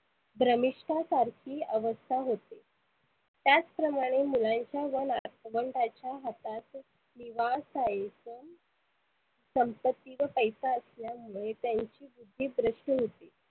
भ्रमीष्ठासारखी अवस्था होते. त्याच प्रमाने मुलांच्या व नातवंडाच्या हातात संपत्ती व पैसा असल्यामुळे त्यांची बुद्धी भ्रष्ट होते.